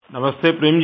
नमस्ते प्रेम जी